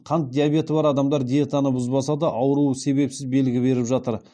қант диабеті бар адамдар диетаны бұзбаса да ауруы себепсіз белгі беріп жатыр